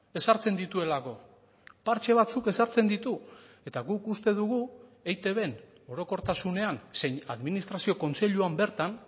ezartzen dituelako partze batzuk ezartzen ditu eta guk uste dugu eitbn orokortasunean zein administrazio kontseiluan bertan